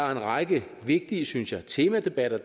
række vigtige synes jeg temadebatter